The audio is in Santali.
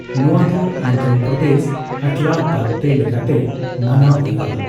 ᱱᱚᱣᱟ ᱫᱚ ᱚᱱᱫᱷᱚᱨᱚ ᱯᱚᱨᱫᱮᱥ ᱟᱴᱞᱟ ᱛᱟᱫᱫᱮ ᱞᱮᱠᱟᱛᱮ ᱢᱟᱱᱟᱣ ᱦᱩᱭᱩᱜᱼᱟ ᱾